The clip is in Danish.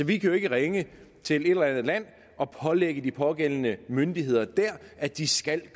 vi kan jo ikke ringe til et eller andet land og pålægge de pågældende myndigheder der at de skal